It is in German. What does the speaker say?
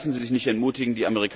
lassen Sie sich nicht entmutigen!